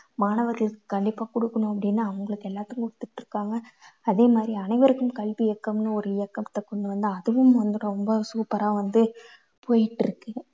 மாணவர்களுக்கு கண்டிப்பா குடுக்கணும் அப்படின்னு அவங்களுக்கு எல்லாத்துக்கும் ஒத்துக்கிட்டிருக்காங்க. அதே மாதிரி அனைவருக்கும் கல்வி இயக்கம்னு ஒரு இயக்கத்தை கொண்டு வந்து அதுவும் வந்து ரொம்ப super ஆ வந்து போயிட்டிருக்கு.